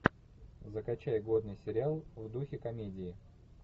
закачай годный сериал в духе комедии